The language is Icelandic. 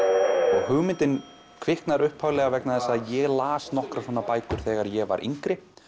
og hugmyndin kviknar upphaflega vegna þess að ég las nokkrar svona bækur þegar ég var yngri